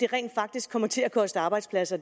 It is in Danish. rent faktisk kommer til at koste arbejdspladser